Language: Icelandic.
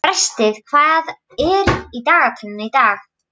Brestir, hvað er í dagatalinu í dag?